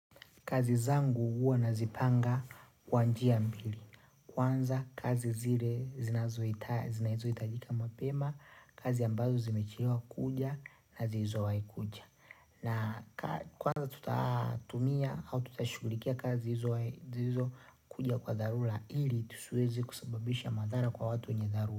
Kazi zangu huwa nazipanga kwa njia mbili. Kwanza kazi zile zinazo hitajika mapema, kazi ambazo zimeachiliwa kuja na zizo waikuja. Na kwanza tuta tumia au tutashughulikia kazi hizo zilizp kuja kwa dharura ili tusiweze kusababisha madhara kwa watu wenye dharura.